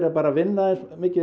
bara að vinna eins mikið